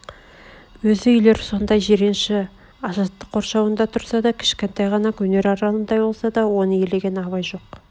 өз үйлер сондай жиренші жаттық қоршауында тұрса да кішкентай ғана өнер аралындай болса да оны елеген абай жоқ